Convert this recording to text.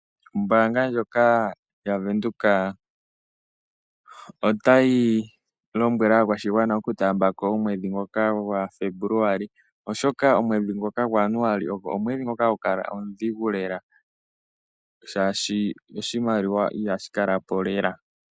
Ombaanga ndjoka yaVenduka otayi lombwele aakwashigwana okutaambako omwedhi ngoka gwaFembuluali oshoka, omwedhi ngoka gwaJanuali omwedhi ngoka hagukala omudhigu lela, shaashi oshimaliwa ihashi kala po lela.